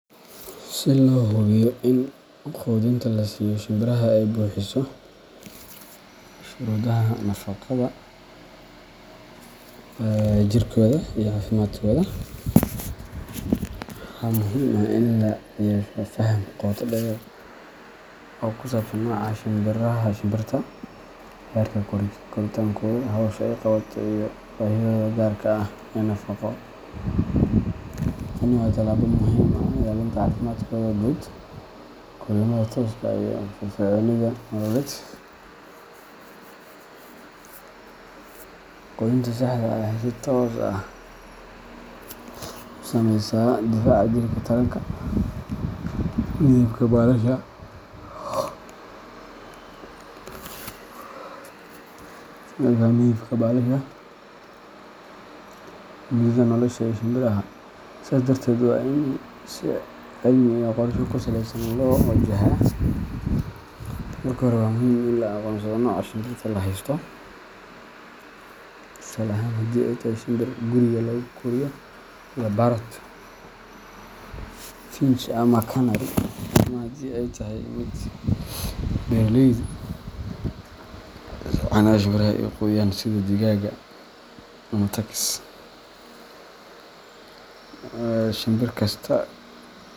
Si loo hubiyo in quudinta la siiyo shimbiraha ay buuxiso shuruudaha nafaqada ee jirkooda iyo caafimaadkooda, waxaa muhiim ah in la yeesho faham qoto dheer oo ku saabsan nooca shimbirta, heerka koritaankooda, hawsha ay qabato, iyo baahiyahooda gaarka ah ee nafaqo. Tani waa talaabo muhiim u ah ilaalinta caafimaadkooda guud, korriimada tooska ah, iyo firfircoonidooda nololeed. Quudinta saxda ah waxay si toos ah u saameysaa difaaca jirka, taranka, midabka baalasha, iyo muddada nolosha ee shimbiraha, sidaas darteedna waa in si cilmi iyo qorshe ku saleysan loo wajahaa. Marka hore, waxaa muhiim ah in la aqoonsado nooca shimbirta la haysto tusaale ahaan, haddii ay tahay shinbir guriga lagu koriyo sida parrot, finch ama canary, ama haddii ay tahay mid beeraleyda xanaanada shinbiraha u quudiyaan sida digaagga ama turkeys, Shimbir kasta.